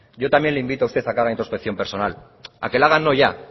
yo también le invito a usted a que haga introspección personal a que la haga no ya